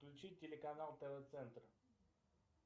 включить телеканал тв центр